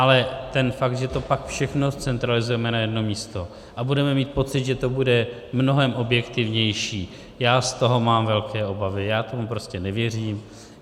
Ale ten fakt, že to pak všechno zcentralizujeme na jedno místo a budeme mít pocit, že to bude mnohem objektivnější, já z toho mám velké obavy, já tomu prostě nevěřím.